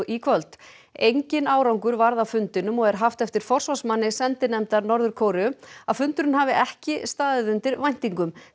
í kvöld engin árangur varð af fundinum og er haft eftir forsvarsmanni sendinefndar Norður Kóreu að fundurinn hafi ekki staðið undir væntingum